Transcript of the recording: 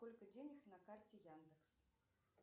сколько денег на карте яндекс